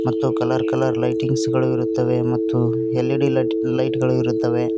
ತ್ತು colour colour lightings ಗಳು ಇರುತ್ತವೆ ಮತ್ತು ಎಲ್_ಇ_ಡಿ ಲೈಟ್ ಲೈಟ್ ಗಳು ಇರುತ್ತವೆ.